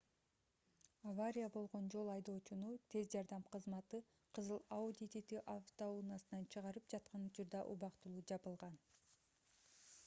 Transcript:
авария болгон жол айдоочуну тез жардам кызматы кызыл audi tt автоунаасынан чыгарып жаткан учурда убактылуу жабылган